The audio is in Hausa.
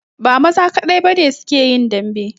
Ba maza kadai ba ne su ke yin dambe